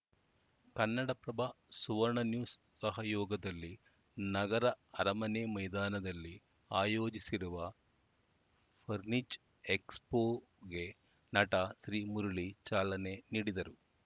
ಕನ್ನಡಪ್ರಭ ಸುವರ್ಣನ್ಯೂಸ್‌ ಸಹಯೋಗದಲ್ಲಿ ನಗರ ಅರಮನೆ ಮೈದಾನದಲ್ಲಿ ಆಯೋಜಿಸಿರುವ ಫರ್ನಿಚ್ ಎಕ್ಸ್‌ಪೋಗೆ ನಟ ಶ್ರೀಮುರಳಿ ಚಾಲನೆ ನೀಡಿದರು